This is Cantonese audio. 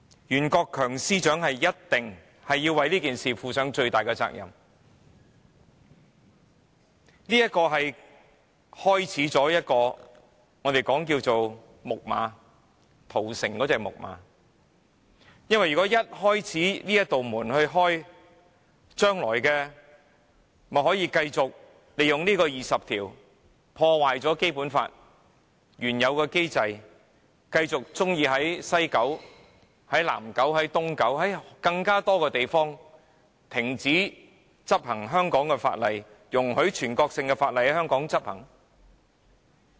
袁國強司長一定要為這件事負上最大的責任，這方案就如《木馬屠城記》中木馬的缺口，缺口一旦打開了，中央政府將來便可繼續利用《基本法》第二十條來破壞《基本法》原有的機制，或許會在西九龍、南九龍、東九龍，或更多的地方停止執行香港的法例，容許全國性的法例陸續在香港執行。